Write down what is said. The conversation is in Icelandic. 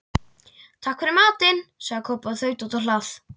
Takk fyrir matinn, sagði Kobbi og þaut út á hlað.